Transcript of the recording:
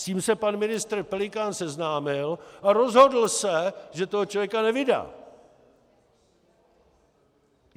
S tím se pan ministr Pelikán seznámil a rozhodl se, že toho člověka nevydá!